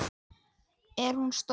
Er hún stór?